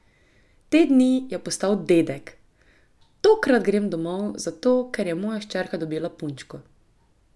Te dni je postal dedek: 'Tokrat grem domov zato, ker je moja hčerka dobila punčko.